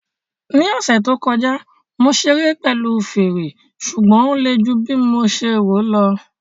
Ní ọ̀sẹ̀ tó kọjá, mo ṣeré pẹ̀lú fèrè, ṣùgbọ́n ó le ju bí mo ṣe lérò